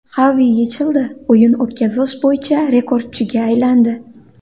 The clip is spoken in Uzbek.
Xavi YeChLda o‘yin o‘tkazish bo‘yicha rekordchiga aylandi.